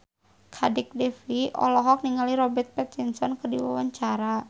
Kadek Devi olohok ningali Robert Pattinson keur diwawancara